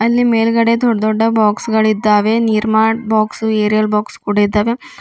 ಅಲ್ಲಿ ಮೇಲ್ಗಡೆ ದೊಡ್ದ್ ದೊಡ್ಡ ಬಾಕ್ಸ್ ಗಳಿದ್ದಾವೆ ನಿರ್ಮಾ ಬಾಕ್ಸ್ ಏರಿಯಾಲ್ ಬಾಕ್ಸ್ ಕೂಡ ಇದ್ದಾವೆ.